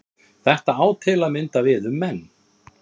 Þetta á til að mynda við um menn.